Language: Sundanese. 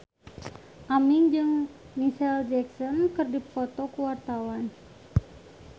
Aming jeung Micheal Jackson keur dipoto ku wartawan